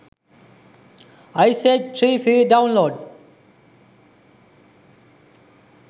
ice age 3 free download